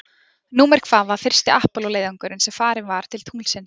Númer hvað var fyrsti Apollo leiðangurinn sem farinn var til tunglsins?